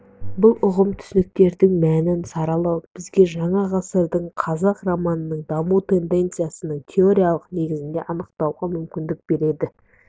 бұл ұғым-түсініктердің мәнін саралау бізге жаңа ғасырдағы қазақ романының даму тенденциясының теориялық негіздерін анықтауға мүмкіндік береді